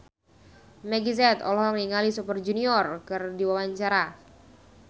Meggie Z olohok ningali Super Junior keur diwawancara